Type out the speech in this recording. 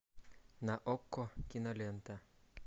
на окко кинолента